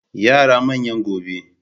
Yara manyan gobe.